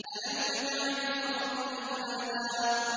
أَلَمْ نَجْعَلِ الْأَرْضَ كِفَاتًا